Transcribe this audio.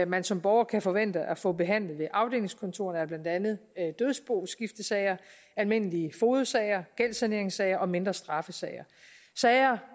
man som borger kan forvente at få behandlet ved afdelingskontorerne er blandt andet dødsboskiftesager almindelige fogedsager gældssaneringssager og mindre straffesager sager